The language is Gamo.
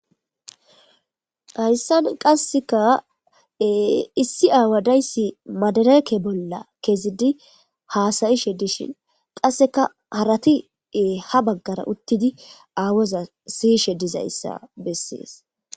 Haysani qasika e issi awa dayis madireke bolla kezidi haasa'ishe dishin qaseka harati e ha bagara utidi awoza siyishe dizayisa beses.